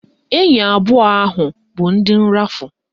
Enyi abụọ ahụ bụ ndị nrafu